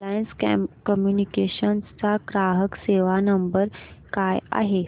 Reliance Communications चा ग्राहक सेवा नंबर काय आहे